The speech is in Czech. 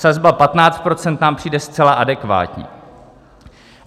Sazba 15 % nám přijde zcela adekvátní.